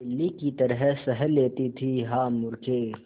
बिल्ली की तरह सह लेती थीहा मूर्खे